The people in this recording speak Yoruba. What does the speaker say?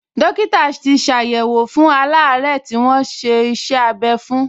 Dọ́kítà tì ṣàyẹ̀wò fún aláàárẹ̀ tí wọ́n ṣe iṣẹ́-abẹ́ fún